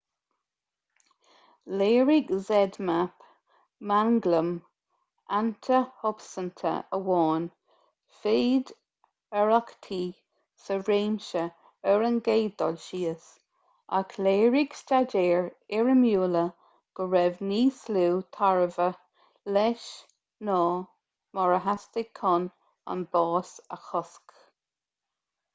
léirigh zmapp manglam antashubstainte amháin féidearthachtaí sa réimse ar an gcéad dul síos ach léirigh staidéir fhoirmiúla go raibh níos lú tairbhe leis ná mar a theastaigh chun an bás a chosc